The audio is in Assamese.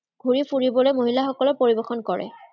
ঘুৰি ফুৰিবলৈ মহিলাসকলে পৰিবেশণ কৰে।